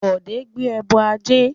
Bode gbé ẹbọ ajé